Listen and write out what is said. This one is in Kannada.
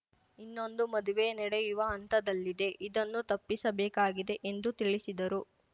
ಇನ್ನೊಂದು ಮದುವೆ ನಡೆಯುವ ಹಂತದಲ್ಲಿದೆ ಇದನ್ನು ತಪ್ಪಿಸಬೇಕಾಗಿದೆ ಎಂದು ತಿಳಿಸಿದರು